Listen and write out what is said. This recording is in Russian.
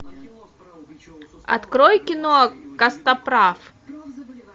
открой кино костоправ